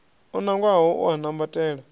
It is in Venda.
o nangwaho u a kwambatela